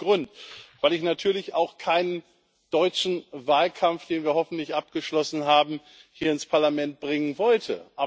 Aus gutem Grund, weil ich natürlich auch keinen deutschen Wahlkampf, den wir hoffentlich abgeschlossen haben, hier ins Parlament bringen wollte.